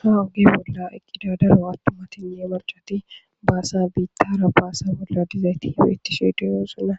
ha oge bolla ekkida daro attumatinne marchati baasa biittara baasa bolla dizay ti bittishe diyosuna